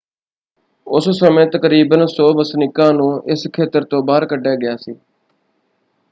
ਉਸ ਸਮੇਂ ਤਕਰੀਬਨ 100 ਵਸਨੀਕਾਂ ਨੂੰ ਇਸ ਖੇਤਰ ਤੋਂ ਬਾਹਰ ਕੱਢਿਆ ਗਿਆ ਸੀ।